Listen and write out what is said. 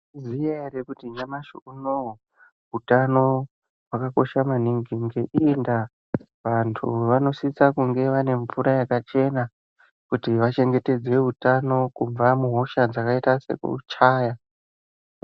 Mayizviziya ere kuti nyamashi unowu, utano hwakakosha maningi, ngeiyi ndaa vantu vanosisa kunge vane mvura yakachena, kuti vachengetedze utano kubva muhosha dzakayita sekuchaya.